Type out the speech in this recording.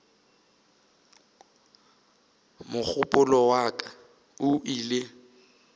mogopolo wa ka o ile